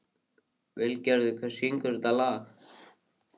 Hilmar, hvað er jörðin stór?